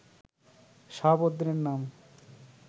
শাহাবুদ্দিনের নাম